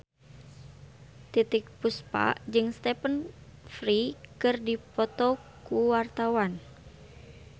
Titiek Puspa jeung Stephen Fry keur dipoto ku wartawan